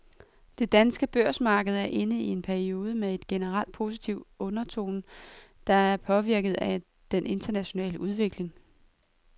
Det danske børsmarked er inde i en periode med en generelt positiv undertone, der er påvirket af den internationale udvikling.